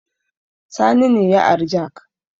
Sani ne ya ari jak